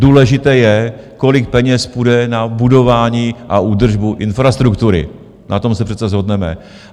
Důležité je, kolik peněz půjde na budování a údržbu infrastruktury, na tom se přece shodneme.